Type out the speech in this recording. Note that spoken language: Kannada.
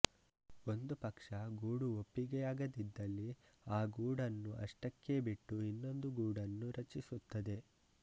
ಒಂದು ಪಕ್ಷ ಗೂಡು ಒಪ್ಪಿಗೆಯಾಗದಿದ್ದಲ್ಲಿ ಆ ಗೂಡನ್ನು ಅಷ್ಟಕ್ಕೇ ಬಿಟ್ಟು ಇನ್ನೊಂದು ಗೂಡನ್ನು ರಚಿಸುತ್ತದೆ